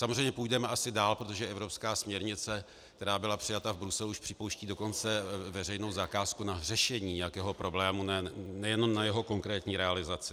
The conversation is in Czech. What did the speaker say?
Samozřejmě půjdeme asi dále, protože evropská směrnice, která byla přijata v Bruselu, již připouští dokonce veřejnou zakázku na řešení nějakého problému, nejenom na jeho konkrétní realizaci.